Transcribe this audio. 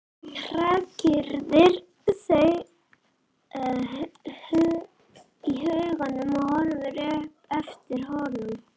Hrakyrðir þau í huganum og horfir upp eftir hólnum.